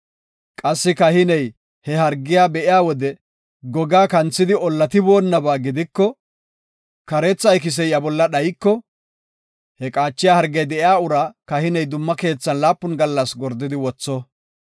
Qassi kahiney he hargiya be7iya wode gogaa kanthidi ollatiboonaba gidiko, kareetha ikisey iya bolla dhayiko, he qaachiya hargey de7iya uraa kahiney dumma keethan laapun gallas gordidi wotho.